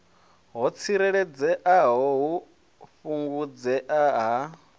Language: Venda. ho tsireledzeaho u fhungudzea ha